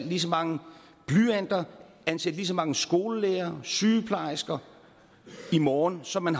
lige så mange blyanter og ansætte lige så mange skolelærere og sygeplejersker i morgen som man